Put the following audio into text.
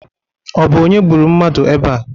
Ọ bụ onye gburu mmadụ ebea?